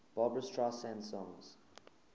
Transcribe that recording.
barbra streisand songs